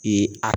I a